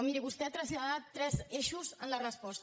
miri vostè ha traslladat tres eixos en la resposta